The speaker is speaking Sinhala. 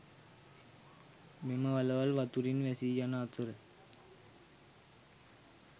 මෙම වළවල් වතුරින් වැසි යන අතර